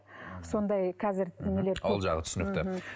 сондай қазір нелер ол жағы түсінікті